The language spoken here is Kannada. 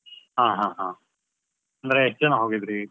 ಹಾ ಹಾ ಹಾ, ಅಂದ್ರೆ ಎಷ್ಟ್ ಜನ ಹೋಗಿದ್ರಿ?